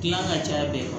Gilan ka caya bi